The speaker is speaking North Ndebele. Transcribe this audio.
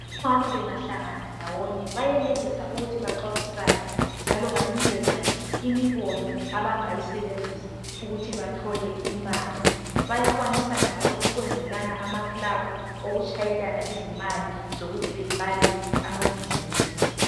Omama bengahlangana ndawonye bayenelisa ukuthi baxoxisane njalo banikezane imibono abangayisebenzisa ukuthi bathole imali. Bayakwanisa njalo ukwenzelana amaclabhu okuthi bashayelane izimali zokuthi baqalise amabhizimusi.